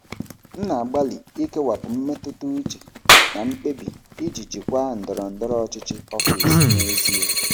M na-agbalị ikewapụ mmetụta uche na mkpebi iji jikwaa ndọrọ ndọrọ ọchịchị ọfịs n'ezie